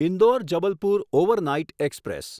Indore Jabalpur overnight express